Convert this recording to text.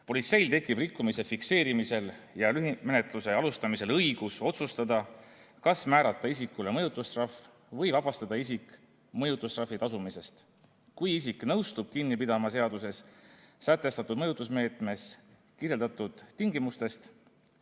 Politseil tekib rikkumise fikseerimisel ja lühimenetluse alustamisel õigus otsustada, kas määrata isikule mõjutustrahv või vabastada isik mõjutustrahvi tasumisest, kui isik nõustub kinni pidama seaduses sätestatud mõjutusmeetme tingimustest.